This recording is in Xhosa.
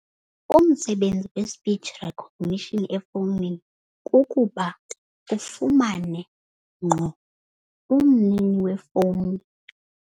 Umsebenzi we-speach recognition efowunini kukuba ufumane ngqo umnini wefowuni.